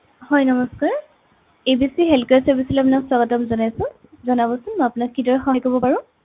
হয় নমস্কাৰ ABC healthcare service লৈ আপোনাক স্বাগতম জনাইছো জনাবছোন মই আপোনাক কিদৰে সহায় কৰিব পাৰো